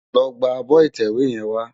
Lò gbá ábò itèwé yèn wá